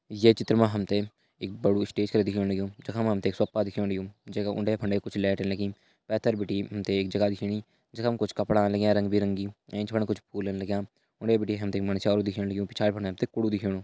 ये चित्र म हम ते एक बड़ु स्टेशन दिखेण लग्युं जखमा हमतैं सोफा दिखेण लग्युं जैका उंडे-फंडे कुछ लैट लगीं पैथर बिटि हम ते एक जगह दिखेणी जखम कुछ कपड़ा लग्यां रंग बिरंगी एंच फण कुछ फूलन लग्यां उनै बिटि हम ते मंडस्यारू दिखेण लग्युं पिछाड़ी बिटि हम तें कुड़ु दिखेणु।